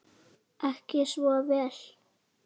Ekki svo vel?